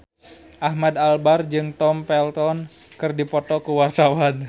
Ahmad Albar jeung Tom Felton keur dipoto ku wartawan